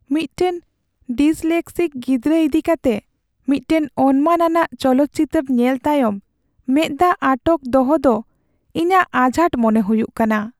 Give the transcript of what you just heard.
ᱢᱤᱫᱴᱟᱝ ᱰᱤᱥᱞᱮᱠᱥᱤᱠ ᱜᱤᱫᱽᱨᱟᱹ ᱤᱫᱤ ᱠᱟᱛᱮ ᱢᱤᱫᱴᱟᱝ ᱚᱱᱢᱟᱱ ᱟᱱᱟᱜ ᱪᱚᱞᱚᱛ ᱪᱤᱛᱟᱹᱨ ᱧᱮᱞ ᱛᱟᱭᱚᱢ ᱢᱮᱫ ᱫᱟᱜ ᱟᱴᱚᱠ ᱫᱚᱦᱚ ᱫᱚ ᱤᱧᱟᱹᱜ ᱟᱡᱷᱟᱴ ᱢᱚᱱᱮ ᱦᱩᱭᱩᱜ ᱠᱟᱱᱟ ᱾